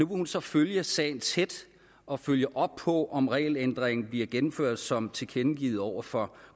hun så følge sagen tæt og følge op på om regelændringen bliver gennemført som tilkendegivet over for